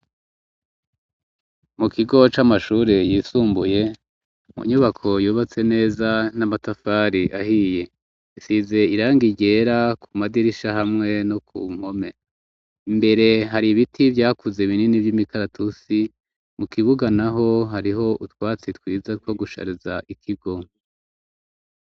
Mu kigo c'amashuri yisumbuye mu nyubako yubatse neza n'amatafari ahiye isize iranga ryera ku madirisha hamwe no ku mpome imbere hari ibiti vyakuze binini vy'imikaratusi mu kibuga naho hariho utwatsi twiza two gushariza ikigo.